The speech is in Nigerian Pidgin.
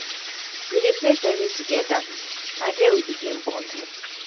we dey play ten nis togeda na there we begin bond.